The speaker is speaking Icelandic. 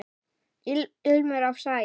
Ilmur af sagi.